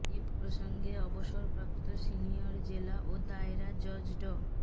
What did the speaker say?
এ প্রসঙ্গে অবসরপ্রাপ্ত সিনিয়র জেলা ও দায়রা জজ ড